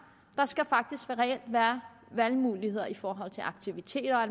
der skal faktisk reelt være valgmuligheder i forhold til aktiviteter og